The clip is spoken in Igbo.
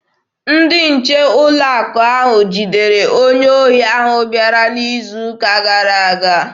Ndị nche ụlọ akụ ahụ jidere onye ohi ahụ bịara n'izu ụka gara aga.